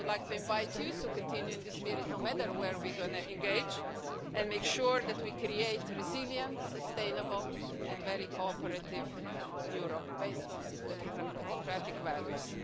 I would like to invite you to continue in this spirit, no matter where we engage, and make sure that we create a resilient, sustainable and very cooperative Europe based on democratic values.